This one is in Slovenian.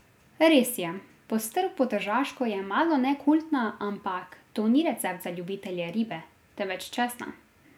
Res je, postrv po tržaško je malone kultna, ampak to ni recept za ljubitelje ribe, temveč česna.